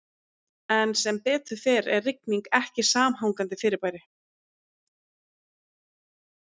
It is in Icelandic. En sem betur fer er rigning ekki samhangandi fyrirbæri.